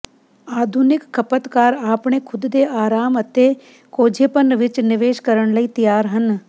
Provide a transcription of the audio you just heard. ਆਧੁਨਿਕ ਖਪਤਕਾਰ ਆਪਣੇ ਖੁਦ ਦੇ ਆਰਾਮ ਅਤੇ ਕੋਝੇਪਨ ਵਿੱਚ ਨਿਵੇਸ਼ ਕਰਨ ਲਈ ਤਿਆਰ ਹਨ